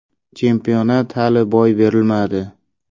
Chempionat hali boy berilmadi.